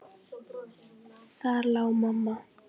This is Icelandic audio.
Þar lá mamma.